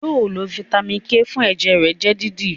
yóò lo Vitamin k fún ẹjẹ rẹ jẹ dídì!